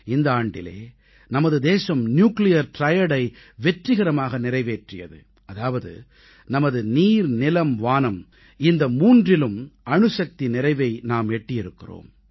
இந்த ஆண்டிலே நமது தேசம் நியூக்ளியர் Triadஐ வெற்றிகரமாக நிறைவேற்றியது அதாவது நமது நீர் நிலம் வானம் இந்த மூன்றிலும் அணுசக்தி நிறைவை எட்டியிருக்கிறோம்